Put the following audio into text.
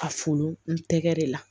A furu n tɛgɛ de la